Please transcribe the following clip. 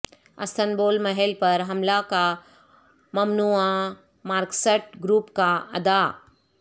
Istanbul محل پر حملہ کا ممنوعہ مارکسسٹ گروپ کا ادعا